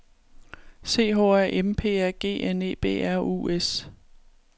C H A M P A G N E B R U S